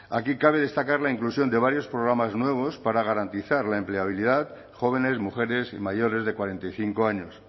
aquí cabe destacar la inclusión de varios programas nuevos para garantizar la empleabilidad de jóvenes mujeres y mayores de cuarenta y cinco años